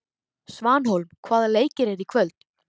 Svanhólm, hvaða leikir eru í kvöld?